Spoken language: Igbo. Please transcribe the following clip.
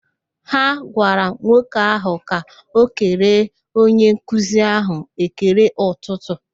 Ha gwara nwoke ahụ ka o kele onye nkuzi ahụ ekele ụtụtụ